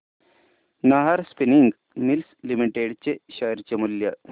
Nahar spinning mills limited चे share मूल्य